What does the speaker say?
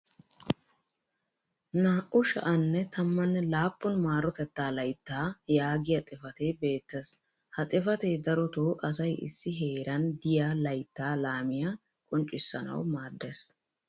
naa"u sha'anne tammanne laappun maarotettaa layttaa yaagiyaa xifatee beettees. ha xifatee darotoo asay issi heeran diya layttaa lammiya qonccissanawu maadees.